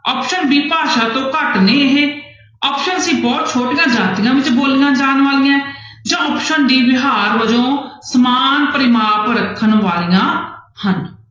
Option b ਭਾਸ਼ਾ ਤੋਂ ਘੱਟ ਨੇ ਇਹ option c ਬਹੁਤ ਛੋਟੀਆਂ ਜਾਤੀਆਂ ਵਿੱਚ ਬੋਲੀਆਂ ਜਾਣ ਵਾਲੀਆਂ ਹੈ ਜਾਂ option d ਵਿਹਾਰ ਵਜੋਂ ਸਮਾਨ ਪਰਿਮਾਪ ਰੱਖਣ ਵਾਲੀਆਂ ਹਨ।